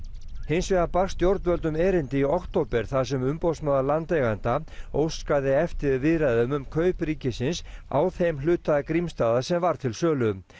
hins vegar barst stjórnvöldum erindi í október þar sem umboðsmaður landeigenda óskaði eftir viðræðum um kaup ríkisins á þeim hluta Grímsstaða sem var til sölu